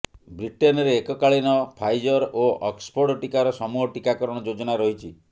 ବ୍ରିଟେନରେ ଏକକାଳୀନ ଫାଇଜର୍ ଓ ଅକ୍ସଫୋର୍ଡ ଟିକାର ସମୂହ ଟିକାକରଣ ଯୋଜନା ରହିଛି